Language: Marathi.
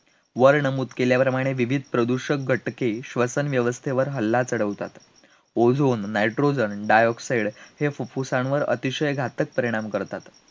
वर नमूद केल्याप्रमाणे विविध प्रदूषक घटके, श्वसनव्यवस्थेवर हल्ला चढवतात, ozone, nitrogen, dioxide हे फुफ्फुसांवर अतिशय घातक परिणाम करतात